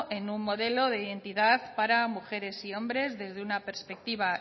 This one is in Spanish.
en un modelo de identidad para mujeres y hombres desde una perspectiva